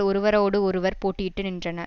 ஒருவரோடு ஒருவர் போட்டியிட்டு நின்றன